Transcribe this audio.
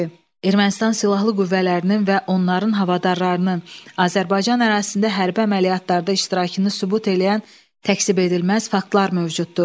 Ermənistan silahlı qüvvələrinin və onların havadarlarının Azərbaycan ərazisində hərbi əməliyyatlarda iştirakını sübut eləyən təksib edilməz faktlar mövcuddur.